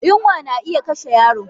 Yunwa na iya kashe yaro